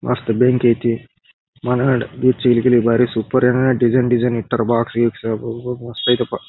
ಮಸ್ತ್ ಬೆಂಕಿ ಐತೆ ಮನಗಂಡ್ ಗೀಚ್ ಗಿಲಿ ಗಿಲಿ ಬಾರಿ ಸೂಪರ್ ಏನ ಡಿಸೈನ್ ಡಿಸೈನ್ ಇಟ್ಟಾರೆ ಬಾಕ್ಸ್ ಗೀಕ್ಸ್ ಅಬಬಾ ಮಸ್ತ್ ಐತೆಪ್ಪ .]